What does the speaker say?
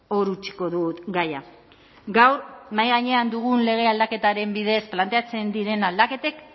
hor utziko dut gaia gaur mahai gainean dugun lege aldaketaren bidez planteatzen diren aldaketek